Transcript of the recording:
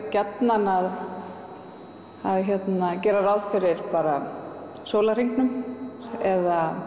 gjarnan að gera ráð fyrir sólarhringnum eða árshringurinn